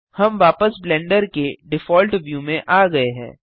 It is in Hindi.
हम वापस ब्लेंडर के डिफॉल्ट व्यू में आ गये हैं